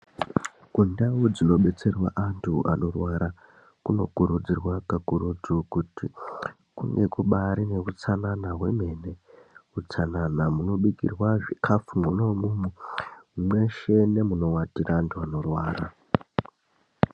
Kundau dzinobetserwa antu anorwara, kunokurudzirwa kakurutu kuti kunge kubaari neutsanana hwemene. Utsanana munobikirwa zvikhafu mwona umwomwo, mweshe nemunowatira vantu vanorwara.